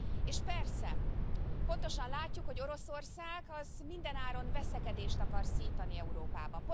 És persze pontosan látjuk, hogy Oroszország mindenáron veszekedést akar szítani Európában.